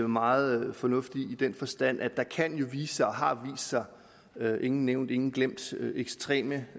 meget fornuft i i den forstand at der jo kan vise sig og har vist sig ingen nævnt ingen glemt ekstreme